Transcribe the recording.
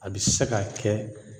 A bɛ se ka kɛ